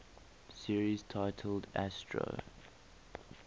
series titled astro